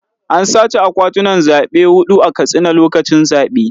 An sace akwatunan zaɓe huɗu a Katsina lokacin zaɓe.